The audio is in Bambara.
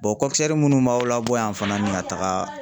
munnu b'aw labɔ yan fana ni ka taga